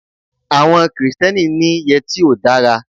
Àwọn Kristẹni ni yẹtí ò dára.